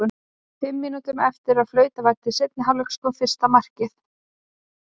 Fimm mínútum eftir að flautað var til seinni hálfleiks kom fyrsta markið.